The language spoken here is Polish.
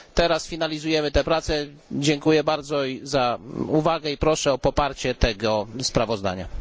Teraz finalizujemy te prace, dziękuję bardzo za uwagę i proszę o poparcie tego sprawozdania.